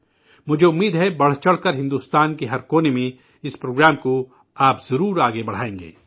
مجھے امید ہے بڑھ چڑک کرکے بھارت کے ہر کونے اس پروگرام کو آپ ضرور آگے بڑھائیں گے